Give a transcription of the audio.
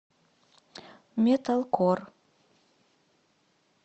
металкор